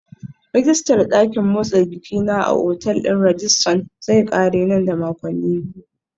Rijistar dakin motsa jiki na a otal ɗin Radisson zai ƙare nan da makonni biyu.